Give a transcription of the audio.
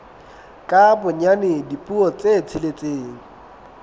ka bonyane dipuo tse tsheletseng